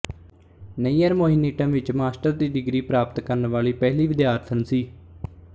ਨਇਅਰ ਮੋਹਿਨੀੱਟਮ ਵਿੱਚ ਮਾਸਟਰ ਦੀ ਡਿਗਰੀ ਪ੍ਰਾਪਤ ਕਰਨ ਵਾਲੀ ਪਹਿਲੀ ਵਿਦਿਆਰਥਣ ਸੀ